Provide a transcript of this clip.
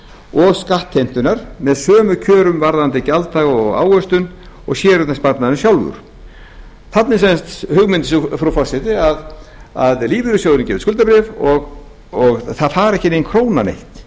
og skattheimtunnar með sömu kjörum varðandi gjalddaga og ávöxtun og séreignarsparnaðurinn sjálfur þarna er sem sagt hugmynd frú forseti að lífeyrissjóðurinn gefi út skuldabréf og það fari ekki nein króna neitt